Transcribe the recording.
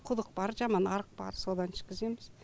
құдық бар жаман арық бар содан ішкіземіз